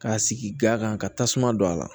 K'a sigi ga kan ka tasuma don a la